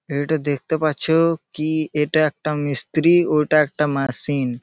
এটা দেখতে পাচ্ছ কি এটা একটা মিস্ত্রি ওটা একটা মেশিন ।